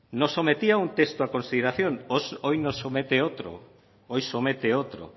nos sometía a un texto a consideración hoy nos somete otro hoy somete otro